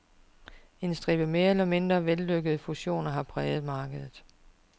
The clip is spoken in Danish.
En stribe mere eller mindre vellykkede fusioner har præget markedet.